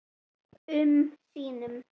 um sínum.